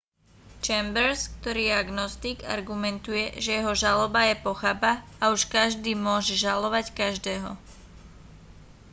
chambers ktorý je agnostik argumentuje že jeho žaloba je pochabá a už každý môže žalovať každého